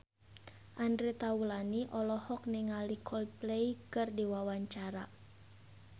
Andre Taulany olohok ningali Coldplay keur diwawancara